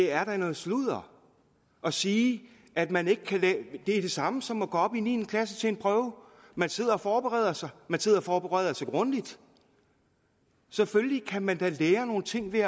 er noget sludder at sige at man ikke kan det er det samme som at gå op i niende klasse man sidder og forbereder sig man sidder og forbereder sig grundigt selvfølgelig kan man da også lære nogle ting ved